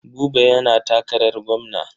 Buba yana takarar gwamna.